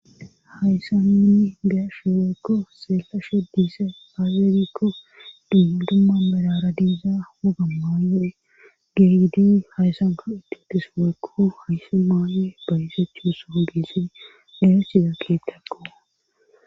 hayssan nuni gesheweykko seekashe diise hageerikko dimma dumma melara diiza wogammayo7e geygidi hayssanko itetiso waykko haysi maaye baysechussoon geessidi deresida keettakko